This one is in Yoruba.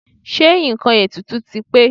Ṣé nǹkan ètùtù ti pé?